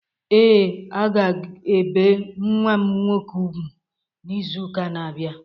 Ee,a ga ebe nwa m nwọke ùgwú n'ịzu ụka na-abia.